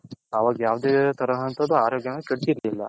ಅವಾಗ ಯಾವುದೇ ತರಹಂತದು ಅರೋಗ್ಯ ಕೆಡ್ತಿರ್ಲಿಲ್ಲ.